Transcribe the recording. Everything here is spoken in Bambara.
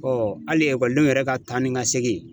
hali ekɔlidenw yɛrɛ ka taa ni ka segin